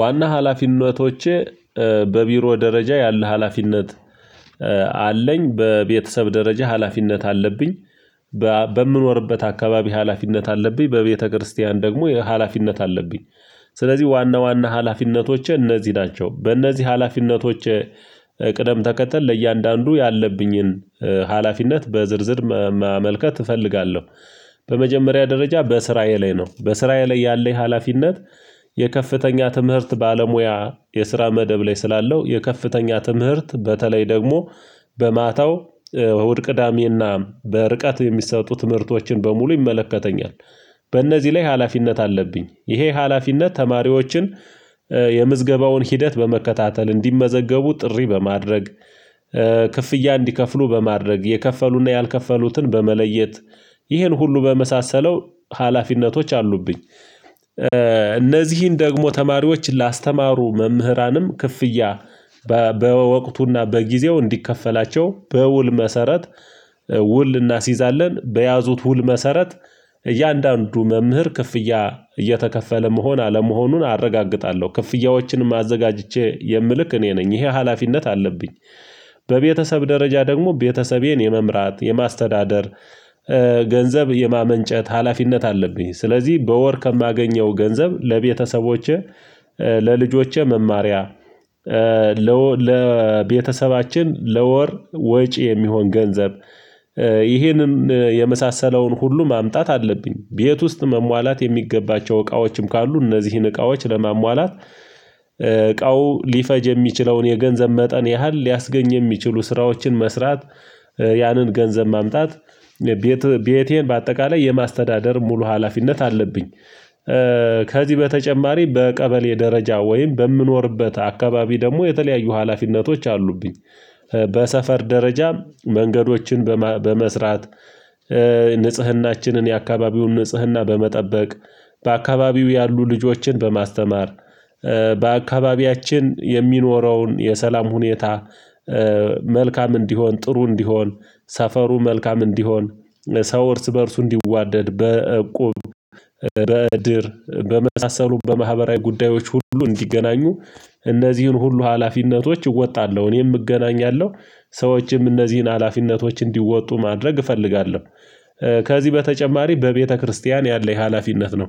ዋና ሀላፊነቶቼ በቢሮ ደረጃ ያለ ሀላፊነት አለኝ። በቤተሰብ ደረጃ ሀላፊነት አለብኝ። በምኖርበት አካባቢ ሀላፊነት አለብኝ በቤተክርስቲያን ደግሞ የሀላፊነት አለብኝ። ስለዚህ ዋና ዋና ሀላፊነቶቼ እነዚህ ናቸው በእነዚህ ሀላፊነቶች ቅደም ተከተል ለእያንዳንዱ ያለብኝን ሀላፊነት በዝርዝር ማመልከት እፈልጋለሁ። በመጀመሪያ ደረጃ በስራየ ላይ ነው ስራየ ላይ ያለኝ ሀላፊነት። የከፍተኛ ትምህርት ባለሙያ የስራ መደብ ላይ ስላለው የከፍተኛ ትምህርት በተለይ ደግሞ በማታው ወደ ቅዳሜና በርቀት የሚሰጡ ትምህርቶችን በሙሉ ይመለከተኛል። በእነዚህ ላይ ሀላፊነት አለብኝ ይሄ ሀላፊነት ተማሪዎችን የምዝገባውን ሂደት በመከታተል እንዲመዘገቡ ጥሪ በማድረግ ክፍያ እንዲከፍሉ በማድረግ የከፈሉና ያልከፈሉትን በመለየት ይሄን ሁሉ በመሳሰለው ሀላፊነቶች አሉብኝ። እነዚህን ደግሞ ተማሪዎች ላስተማሩ መምህራንም ክፍያ በወቅቱና በጊዜው እንዲከፈላቸው በውል መሰረት ውል እናስይዛለን በያዙት ውል መሰረት እያንዳንዱ መምህር ክፍያ እየተከፈለ መሆን አለመሆኑን አረጋግጣለሁ ክፍያዎችንም አዘጋጅቼ የምልክ እኔ ነኝ ይሄ ሀላፊነት አለብኝ። በቤተሰብ ደረጃ ደግሞ ቤተሰቤን የመምራት የማስተዳደር ገንዘብ የማመንጨት ሀላፊነት አለብኝ። ስለዚህ በወር ከማገኘው ገንዘብ ለቤተሰቦቼ ለልጆቼ መማሪያ ለቤተሰባችን ለወር ወጪ የሚሆን ገንዘብ ይሄንን የመሳሰለውን ሁሉ ማምጣት አለብኝ። ቤት ውስጥ መሟላት የሚገባቸው እቃዎችም ካሉ እነዚህን እቃዎች ለማሟላት እቃው ሊፈጅ የሚችለውን የገንዘብ መጠን ያህል ሊያስገኝ የሚችሉ ስራዎችን መስራት ያንን ገንዘብ ማምጣት። ቤቴን በአጠቃላይ የማስተዳደር ሙሉ ሀላፊነት አለብኝ። ከዚህ በተጨማሪ በቀበሌ ደረጃ ወይም በምኖርበት አካባቢ ደግሞ የተለያዩ ሀላፊነቶች አሉብኝ። በሰፈር ደረጃ መንገዶችን በመስራት ንጽህናችንን የአካባቢውን ንጽህና በመጠበቅ በአካባቢው ያሉ ልጆችን በማስተማር በአካባቢያችን የሚኖረውን የሰላም ሁኔታ መልካም እንዲሆን ጥሩ እንዲሆን ሰፈሩ መልካም እንዲሆን ሰው እርስ በእርሱ እንዲዋደድ በእቁብ በእድር በመሳሰሉ በማህበራዊ ጉዳዮች ሁሉ እንዲገናኙ እነዚህን ሁሉ ሀላፊነቶች እወጣለሁ እኔም እገናኛለሁ ሰዎችም እነዚህን ሀላፊነቶች እንዲወጡ ማድረግ እፈልጋለሁ። ከዚህ በተጨማሪ በቤተክርስቲያን ያለኝ ሀላፊነት ነው።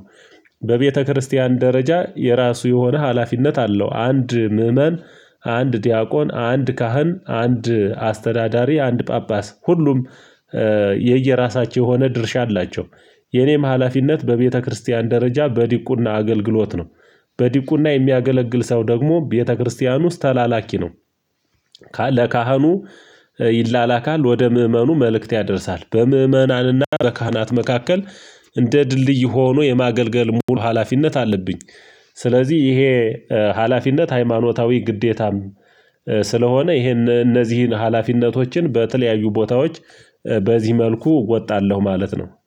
በቤተክርስቲያን ደረጃ የራሱ የሆነ ሀላፊነት አለው አንድ ምእመን አንድ ዲያቆን አንድ ካህን አንድ አስተዳዳሪ አንድ ጳጳስ ሁሉም የየራሳቸው የሆነ ድርሻ አላቸው። የኔም ሀላፊነት በቤተክርስቲያን ደረጃ በዲቁና አገልግሎት ነው። በዲቁና የሚያገለግል ሰው ደግሞ ቤተክርስቲያን ውስጥ ተላላኪ ነው። ለካህኑ ይላላካል ወደ ምእመኑ መልእክት ያደርሳል በምእመናንና በካህናት መካከል እንደ ድልድይ ሆኖ የማገልገል ሙሉ ሀላፊነት አለብኝ። ስለዚህ ይሄ ሀላፊነት ሃይማኖታዊ ግዴታም ስለሆነ ይሄን እነዚህን ሀላፊነቶችን በተለያዩ ቦታዎች በዚህ መልኩ እወጣለሁ ማለት ነው